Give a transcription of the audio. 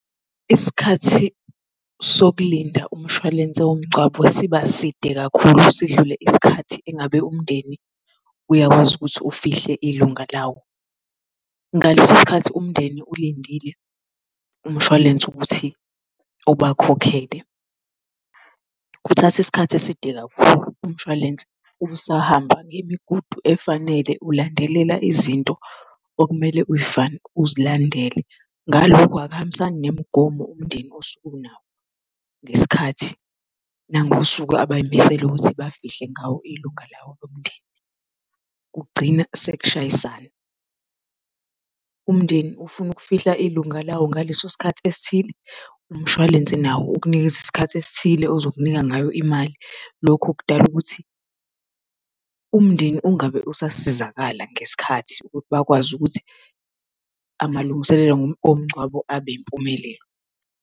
Isikhathi sokulinda umshwalense womngcwabo siba side kakhulu sidlule isikhathi engabe umndeni uyakwazi ukuthi ufihle ilunga lawo. Ngaleso sikhathi umndeni ulindile umshwalense ukuthi ubakhokhele, kuthatha isikhathi eside kakhulu, umshwalense usahamba ngemigudu efanele ulandelela izinto okumele uzilandele. Ngalokho akuhambisani nemigomo umndeni osuke unawo ngesikhathi nangosuku abay'misele ukuthi bafihle ngawo ilunga lawo lomndeni, kugcina sekushayisana. Umndeni ufuna ukufihla ilunga lawo ngaleso sikhathi esithile, umshwalense nawo ukunikeza isikhathi esithile ozokunika ngayo imali. Lokho kudala ukuthi umndeni ungabe usasizakala ngesikhathi ukuthi bakwazi ukuthi amalungiselelo omngcwabo abe impumelelo.